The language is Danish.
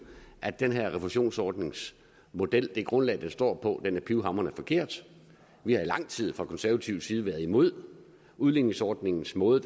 at den her refusionsordningsmodel og det grundlag den står på er pivhamrende forkert vi har i lang tid fra konservativ side været imod udligningsordningens måde